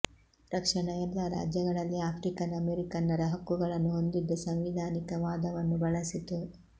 ರಕ್ಷಣಾ ಎಲ್ಲ ರಾಜ್ಯಗಳಲ್ಲಿ ಆಫ್ರಿಕನ್ ಅಮೆರಿಕನ್ನರ ಹಕ್ಕುಗಳನ್ನು ಹೊಂದಿದ್ದ ಸಾಂವಿಧಾನಿಕ ವಾದವನ್ನು ಬಳಸಿತು